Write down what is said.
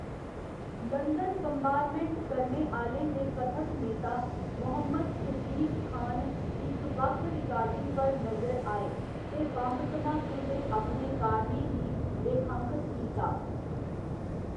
London bombardment करने आह्‌लें दे कथत नेता, मोहम्मद सिद्दीक खान, इक बक्ख रिकार्डिंग पर नजर आए ते बम्ब धमाकें दे अपने कारणें गी रेखांकत कीता।